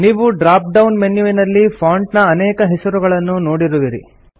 ನೀವು drop down ಮೆನ್ಯುವಿನಲ್ಲಿ font ನ ಅನೇಕ ಹೆಸರುಗಳನ್ನು ನೋಡುವಿರಿ